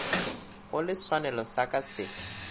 gole senwelo sa ka se